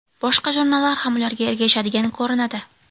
Boshqa jurnallar ham ularga ergashadigan ko‘rinadi.